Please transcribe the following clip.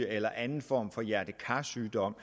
eller anden form for hjerte kar sygdom